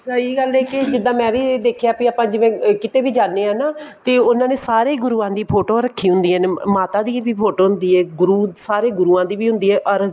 ਸਹੀ ਗੱਲ ਹੈ ਕੀ ਜਿੱਦਾਂ ਮੈਂ ਵੀ ਦੇਖਿਆ ਵੀ ਆਪਾਂ ਜਿਵੇਂ ਕਿਤੇ ਵੀ ਜਾਂਦੇ ਹਾਂ ਨਾ ਤੇ ਉਹਨਾ ਨੇ ਸਾਰੇ ਗੁਰੂਆਂ ਦੀ ਫੋਟੋ ਰੱਖੀ ਹੁੰਦੀ ਹੈ ਮਾਤਾ ਦੀ ਵੀ photo ਹੁੰਦੀ ਏ ਸਾਰੇ ਗੁਰੂਆਂ ਦੀ ਵੀ ਹੁੰਦੀ ਹੈ or